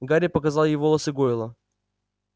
гарри показал ей волосы гойла